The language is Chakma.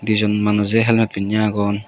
di jon manuje helmate pinney agon.